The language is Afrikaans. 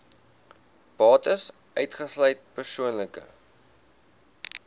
bates uitgesluit persoonlike